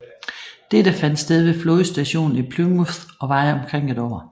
Dette fandt sted ved flådestationen i Plymouth og varede omkring et år